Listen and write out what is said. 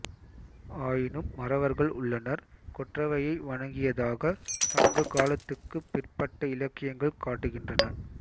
ஆயினும் மறவர்கள் உள்ளனர் கொற்றவையை வணங்கியதாகச் சங்ககாலத்துக்குப் பிற்பட்ட இலக்கியங்கள் காட்டுகின்றன